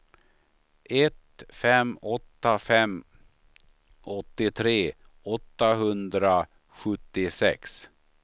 ett fem åtta fem åttiotre åttahundrasjuttiosex